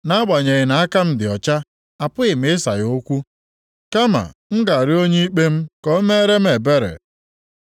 Nʼagbanyeghị na aka m dị ọcha, apụghị m ịsa ya okwu; kama m ga-arịọ onye ikpe m ka o mere m ebere.